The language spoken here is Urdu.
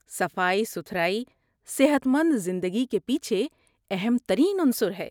صفائی ستھرائی صحت مند زندگی کے پیچھے اہم ترین عنصر ہے۔